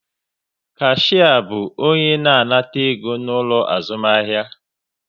Kashia bu onye na-anata ego n'ulo azumahia